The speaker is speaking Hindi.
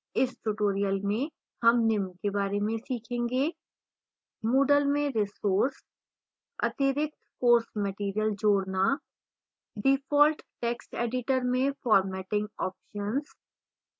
इस tutorial में हम निम्न के बारे में सीखेंगेः